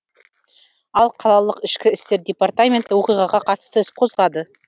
ал қалалық ішкі істер департаменті оқиғаға қатысты іс қозғады